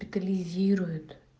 детализирует